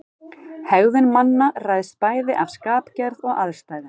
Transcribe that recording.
Hegðun manna ræðst bæði af skapgerð og aðstæðum.